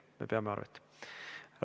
Me peame arvet.